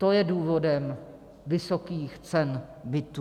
To je důvodem vysokých cen bytů.